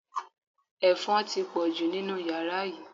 Ẹ̀fọn ti pọ̀jù nínú yàrá yìí